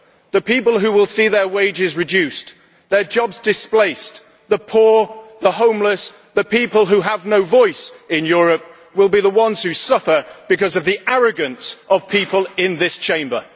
The people who will see their wages reduced, their jobs displaced, the poor, the homeless and the people who have no voice in Europe will be the ones who suffer because of the arrogance of people in this Chamber.